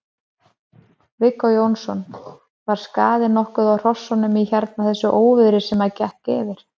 Viggó Jónsson: Var skaði nokkuð á hrossunum í hérna þessu óviðri sem að gekk yfir?